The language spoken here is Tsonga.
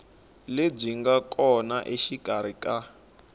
lebyi nga kona exikarhi ka